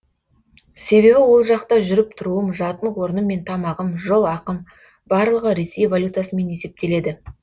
себебі ол жақта жүріп тұруым жатын орным мен тамағым жол ақым барлығы ресей валютасымен есептеледі